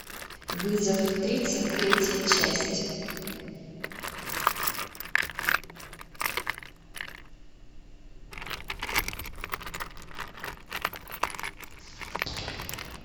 вызов тридцать третья часть